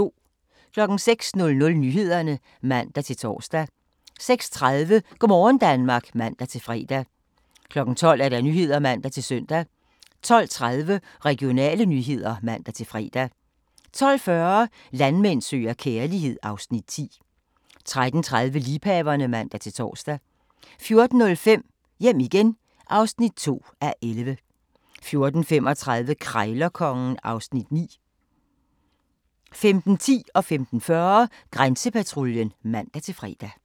06:00: Nyhederne (man-tor) 06:30: Go' morgen Danmark (man-fre) 12:00: Nyhederne (man-søn) 12:30: Regionale nyheder (man-fre) 12:40: Landmand søger kærlighed (Afs. 10) 13:30: Liebhaverne (man-tor) 14:05: Hjem igen (2:11) 14:35: Krejlerkongen (Afs. 9) 15:10: Grænsepatruljen (man-fre) 15:40: Grænsepatruljen (man-fre)